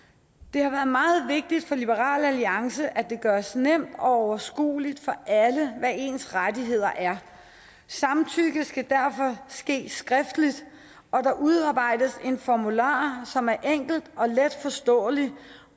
har været meget vigtigt for liberal alliance at det gøres nemt og overskuelig for alle hvad ens rettigheder er samtykke skal derfor ske skriftligt og der udarbejdes en formular som er enkel og letforståelig